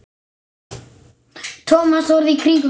Thomas horfði í kringum sig.